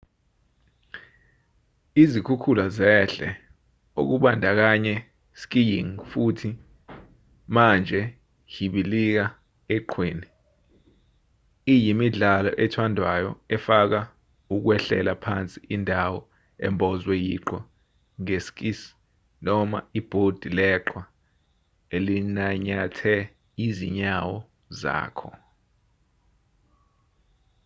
izikhukhula zehle okubandakanya skiing futhi manjehibilika eqhweni iyimidlalo ethandwayo efaka ukwehlela phansi indawo embozwe yiqhwa nge skis noma ibhodi leqhwa elinanyathe izinyawo zakho